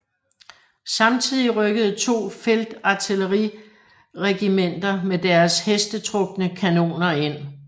Samtidig rykkede to feltartilleriregimenter med deres hestetrukne kanoner ind